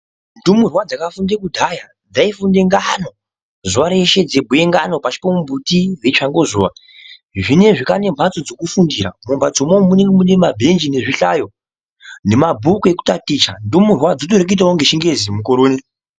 Ndumurwa dzakafunde kudhaya dzayifunde ngano zuva reshe, dzebhuye ngano pasipomuti dzichangozuwa. Zvino ezvino kwaane mbatso dzekufundira. Mumbatso imomo munenge mune mabenji nezvihlaro, nema bhuku ekutatitsha. Ndumurwa dzirikutoita chingezi mukore uno.